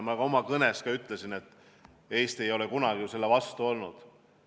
Ma oma kõnes ka ütlesin, et Eesti ei ole kunagi selle vastu olnud.